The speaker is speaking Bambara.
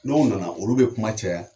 N'o nana olu bɛ kuma caya